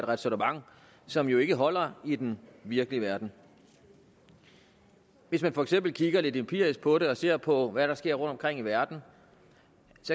ræsonnement som jo ikke holder i den virkelige verden hvis man for eksempel kigger lidt empirisk på det og ser på hvad der sker rundtomkring i verden